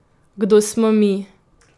Kdo smo mi?